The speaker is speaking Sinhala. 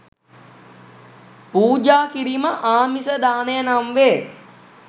පූජා කිරීම ආමිස දානය නම් වේ.